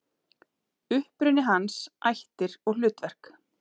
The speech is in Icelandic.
Uppruni hans, ættir og hlutverk.